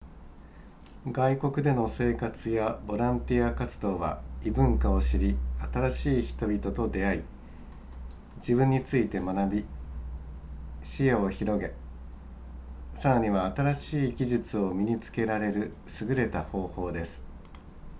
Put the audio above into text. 外国での生活やボランティア活動は異文化を知り新しい人々と出会い自分について学び視野を広げさらには新しい技術を身に付けられる優れた方法です